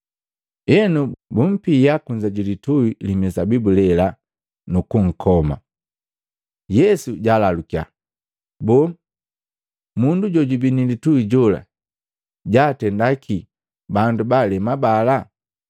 Enu, bumpia kunza jilitui li mizabibu lela, nukunkoma.” Yesu jaalalukya, “Boo, mundu jojubii nilitui jola jaatenda kii bandu baalema bala?